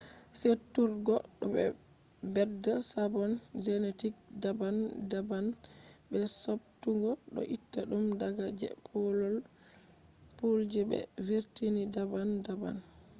seduturgo do bedda sabon genetic daban daban be subtugo do itta dum daga je pool je be vurtini daban daban